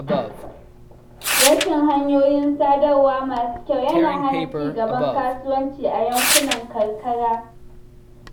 Rashin hanyoyin sadarwa masu kyau yana hana ci gaban kasuwanci a yankunan karkara.